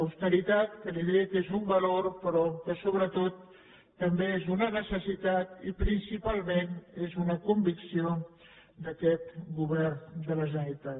austeritat que li diré que és un valor però que sobretot també és una necessitat i principalment és una convicció d’aquest govern de la generalitat